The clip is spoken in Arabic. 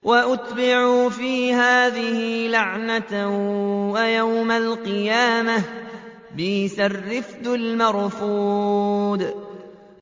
وَأُتْبِعُوا فِي هَٰذِهِ لَعْنَةً وَيَوْمَ الْقِيَامَةِ ۚ بِئْسَ الرِّفْدُ الْمَرْفُودُ